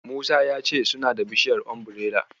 Musa ya ce suna da bishiyar Umbirela.